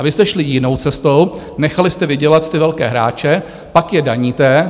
A vy jste šli jinou cestou, nechali jste vydělat ty velké hráče, pak je daníte.